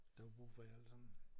Der var brug for jer alle sammen?